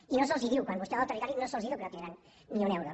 i no se’ls diu quan vostè va al territori no se’ls diu que no tindran ni un euro